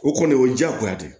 O kɔni o ye diyagoya de ye